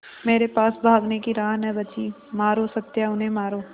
मेरे पास भागने की राह न बची मारो सत्या उन्हें मारो